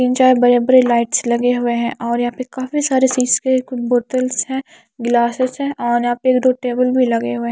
तीन चार बड़े-बड़े लाइट्स लगे हुए हैं और यहां पे काफी सारे सीस के बोतल्स है गिलासेस है और यहां पे एक दो टेबल भी लगे हुए--